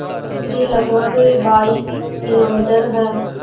दूरी लगभग बाईस किलोमीटर है